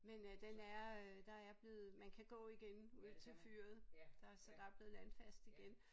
Men øh den er øh der er blevet man kan gå igen ud til fyret der så der er blevet landfast igen